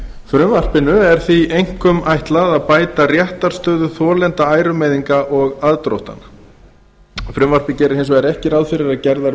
frumvarpinu er því einkum ætlað að bæta réttarstöðu þolenda ærumeiðinga og aðdróttana frumvarpið gerir hins vegar ekki ráð fyrir að gerðar